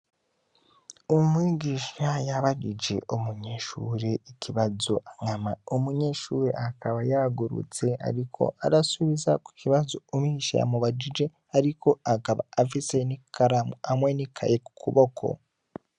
Umwigisha yabajije umunyeshure ikibazo anyama umunyeshuri akaba yagurutse, ariko arasubiza ko kibazo umisha yamubajije, ariko agaba afise ni karamu amwe ni kaye ku kuboko.